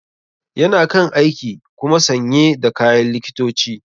Yana kan aiki kuma sanye da kayan likitoci.